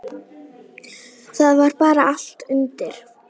Það var bara allt undir.